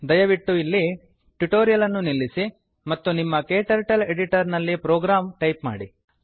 ದಯವಿಟ್ಟು ಇಲ್ಲಿ ಟ್ಯುಟೋರಿಯಲ್ ಅನ್ನು ನಿಲ್ಲಿಸಿ ಮತ್ತು ನಿಮ್ಮ ಕ್ಟರ್ಟಲ್ ಎಡಿಟರ್ ನಲ್ಲಿ ಪ್ರೋಗ್ರಾಂ ಟೈಪ್ ಮಾಡಿ